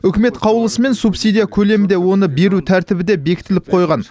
үкімет қаулысымен субсидия көлемі де оны беру тәртібі де бекітіліп қойған